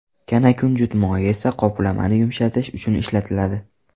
Kanakunjut moyi esa qoplamani yumshatish uchun ishlatiladi.